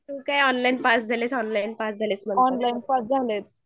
तू काय online pass झाली online pass झालीस